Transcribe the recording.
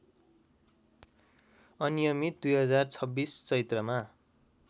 अनियमित २०२६ चैत्रमा